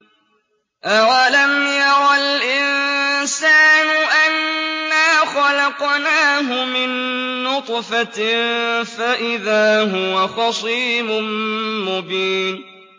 أَوَلَمْ يَرَ الْإِنسَانُ أَنَّا خَلَقْنَاهُ مِن نُّطْفَةٍ فَإِذَا هُوَ خَصِيمٌ مُّبِينٌ